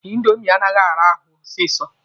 Indomi anaghị ara ahụ osisi.